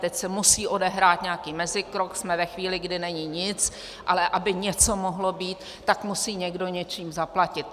Teď se musí odehrát nějaký mezikrok, jsme ve chvíli, kdy není nic, ale aby něco mohlo být, tak musí někdo něčím zaplatit.